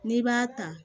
N'i b'a ta